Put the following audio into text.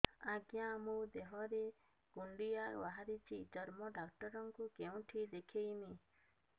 ଆଜ୍ଞା ମୋ ଦେହ ରେ କୁଣ୍ଡିଆ ବାହାରିଛି ଚର୍ମ ଡାକ୍ତର ଙ୍କୁ କେଉଁଠି ଦେଖେଇମି